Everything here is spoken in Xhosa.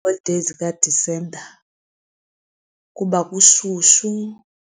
Iiholideyi zikaDisemba kuba kushushu